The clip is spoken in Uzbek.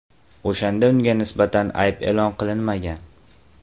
o‘shanda unga nisbatan ayb e’lon qilinmagan.